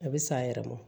A bɛ san yɛrɛ ma